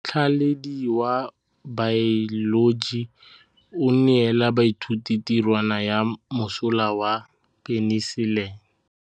Motlhatlhaledi wa baeloji o neela baithuti tirwana ya mosola wa peniselene.